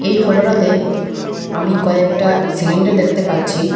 এই ফটোটাতে আমি কয়েকটা সিলিন্ডার দেখতে পাচ্ছি।